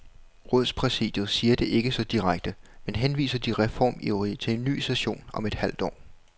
Rådspræsidiet siger det ikke så direkte, men henviser de reformivrige til en ny session om et halvt år.